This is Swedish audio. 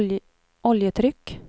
oljetryck